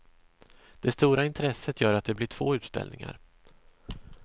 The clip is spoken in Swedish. Det stora intresset gör att det blir två utställningar.